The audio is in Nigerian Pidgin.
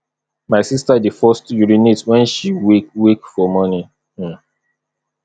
my sista dey first urinate wen she wake wake for morning um